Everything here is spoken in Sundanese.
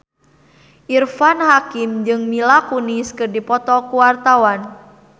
Irfan Hakim jeung Mila Kunis keur dipoto ku wartawan